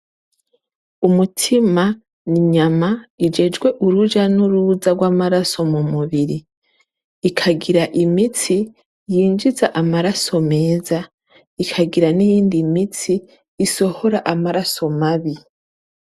Umutima n'inyama ijejwe uruja n'uruza rw'amaraso mu mubiri. Ikagira imitsi yinjiza amaraso meza, ikagira niyindi mitsi isohora amaraso mabi.